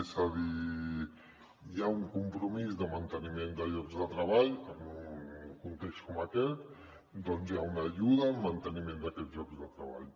és a dir hi ha un compromís de manteniment de llocs de treball en un context com aquest doncs hi ha una ajuda al manteniment d’aquests llocs de treball